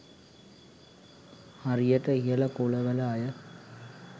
හරියට ඉහළ කුලවල අය